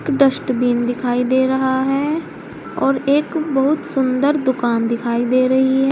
Dustbin दिखाई दे रहा है और एक बहुत सुंदर दुकान दिखाई दे रही है।